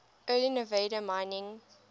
early nevada mining